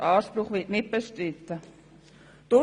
Dieser Anspruch wird nicht bestritten.